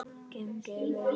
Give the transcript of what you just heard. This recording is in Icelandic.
Gangi þeim vel án James.